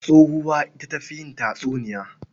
Tsohuwa ita ta fi yin tatsuniya.